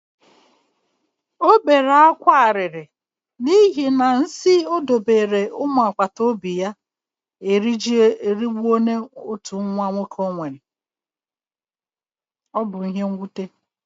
O bere akwa akwa, n'ihi na nsi o dobere umu agbata obi ya ejirila otu nwa ya nwoke bibie. Ọ bụ ihe nwute.